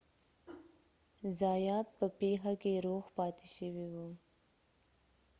زایات په پیښه کې روغ پاتې شوی و